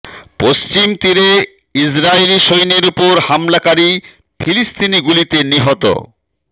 পশ্চিম তীরে ইসরাইলি সৈন্যের ওপর হামলাকারী ফিলিস্তিনি গুলিতে নিহত